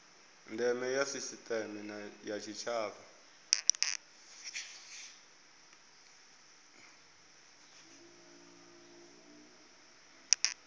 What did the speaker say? ndeme ya sisiteme ya tshitshavha